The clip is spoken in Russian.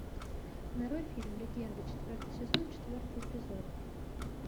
нарой фильм легенда четвертый сезон четвертый эпизод